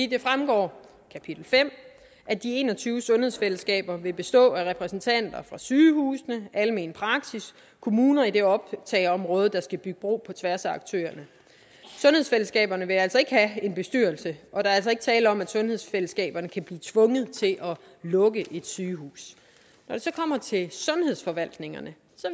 det fremgår af kapitel fem at de en og tyve sundhedsfællesskaber vil bestå af repræsentanter for sygehusene almen praksis og kommuner i det optageområde der skal bygge bro på tværs af aktørerne sundhedsfællesskaberne vil altså ikke have en bestyrelse og der er altså ikke tale om at sundhedsfællesskaberne kan blive tvunget til at lukke et sygehus når det så kommer til sundhedsforvaltningerne